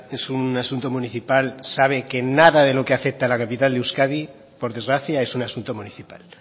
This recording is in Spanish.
es un asunto municipal sabe que nada de lo que afecta a la capital de euskadi por desgracia es un asunto municipal